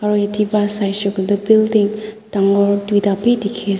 aru yatae pa saishey koilae tu building dangor tuita bi dikhi as--